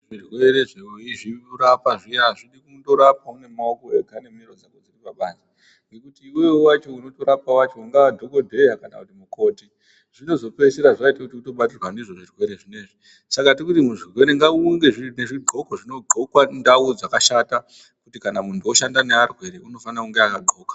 Zvirwerezvo weizvirapa azvidi kundorapa nemaoko ega nemiro dzese dziri pabanze ngekuti iwewe wacho unotorapa wacho ungaa dhokodheya kana mukoti zvinozopopedzisira zvaita kuti utobatwa ndizvo zvirwere zvinezvi. Saka tirikuti muzvirwere ngaunge zvidxokwe zvinodxokwa ndau dzakashata kuti kana muntu unoshanda nearwere unofana kunge akadxoka.